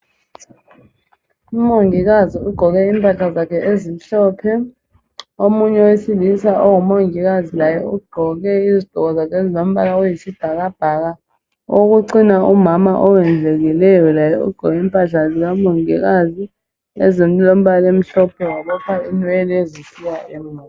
Umongikazi ugqoke impahla zakhe ezimhlophe Omunye owesilisa ongumongikazi laye ugqoke izigqoko zakhe ezilombala oyisibhakabhaka Owokucina umama owondlekileyo laye ugqoke impahla zikamongikazi ezilombala omhlophe wabopha inwele zisiya emuva